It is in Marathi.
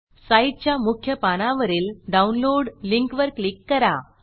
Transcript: साईटच्या मुख्य पानावरील डाऊनलोड लिंकवर क्लिक करा